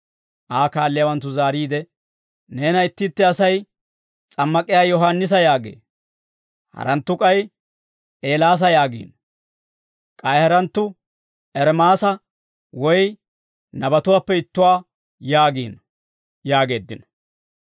Aa kaalliyaawanttu zaariide, «Neena itti itti asay, S'ammak'iyaa Yohaannisa yaagee; haranttu k'ay Eelaasa yaagiino; k'ay haranttu Ermaasa woy nabatuwaappe ittuwaa yaagiino» yaageeddino.